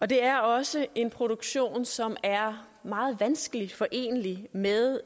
det er også en produktion som er meget vanskeligt forenelig med